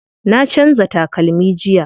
Na canza takalmi jiya.